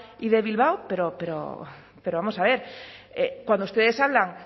y de bilbao pero vamos a ver cuando ustedes hablan